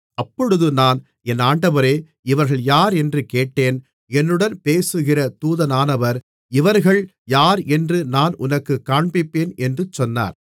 அப்பொழுது நான் என் ஆண்டவரே இவர்கள் யாரென்று கேட்டேன் என்னுடன் பேசுகிற தூதனானவர் இவர்கள் யாரென்று நான் உனக்குக் காண்பிப்பேன் என்று சொன்னார்